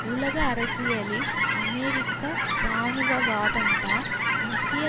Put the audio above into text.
உலக அரசியலில் அமெரிக்க இராணுவவாதம்தான் முக்கிய